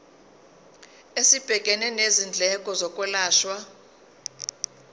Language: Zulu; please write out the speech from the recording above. esibhekene nezindleko zokwelashwa